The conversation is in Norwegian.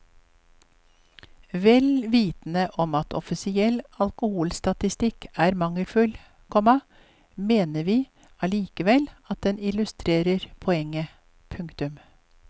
Vel vitende om at offisiell alkoholstatistikk er mangelfull, komma mener vi allikevel at den illustrerer poenget. punktum